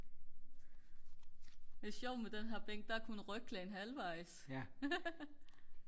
det er sjovt med den her bænk der er kun ryglæn halvvejs